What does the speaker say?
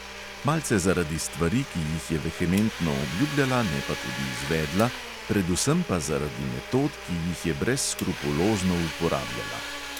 Malce zaradi stvari, ki jih je vehementno obljubljala, ne pa tudi izvedla, predvsem pa zaradi metod, ki jih je brezskrupulozno uporabljala.